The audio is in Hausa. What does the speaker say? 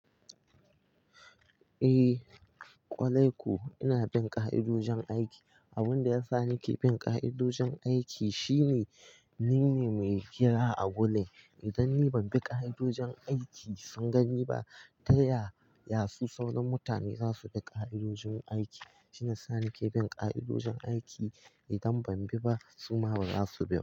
Eh, kwalai ko ina bin ka'idojin aiki. Abin da ya sa nake bin ka'idojin aiki shine ni ne mai hira a gullin. Idan ni ban bi ka'idojin aiki, sun gani ba, taya yasu sauran mutane zasu bi ka'idojin aiki? Shiyasa nake bin ka'idojin aiki. Idan ban bi ba su ma baza su bi ba.